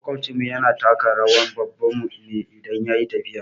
Maƙwabcin mu yana taka rawan baban mu ne idan yayi tafiya